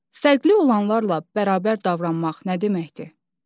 Fərqli olanlarla bərabər davranmaq nə deməkdir?